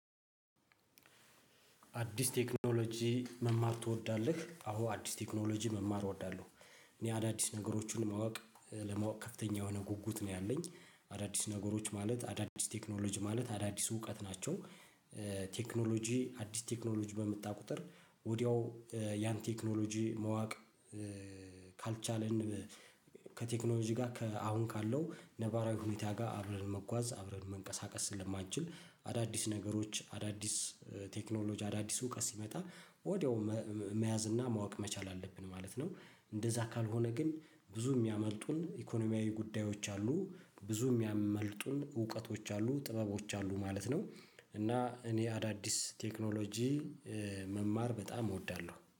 አዲስ ቴክኖሎጂ መማር ትወዳለህ? አዎ አዲስ ቴክኖሎጂ መማር እወዳለሁ። እኔ አዳዲስ ነገሮችን ማወቅ ለማወቅ ከፍተኛ የሆነ ጉጉት ነው ያለኝ። አዳዲስ ነገሮች ማለት አዳዲስ ቴክኖሎጂ ማለት አዳዲስ እውቀት ናቸው። ቴክኖሎጂ አዲስ ቴክኖሎጂ በመጣ ቁጥር ወዲያው ያን ቴክኖሎጂ ማወቅ። ካልቻልን ከቴክኖሎጂ ጋ ከአሁን ካለው ነባራዊ ሁኔታ ጋ አብረን መጓዝ አብረን መንቀሳቀስ ስለማንችል። አዳዲስ ነገሮች አዳዲስ ቴክኖሎጂ አዳዲስ እውቀት ሲመጣ ወዲያው መያዝ እና ማወቅ መቻል አለብን ማለት ነው። እንደዛ ካልሆነ ግን ብዙ የሚያመልጡን ኢኮኖሚያዊ ጉዳዮች አሉ ብዙ የሚያመልጡን እውቀቶች አሉ ጥበቦች አሉ ማለት ነው። እና እኔ አዳዲስ ቴክኖሎጂ መማር በጣም እወዳለሁ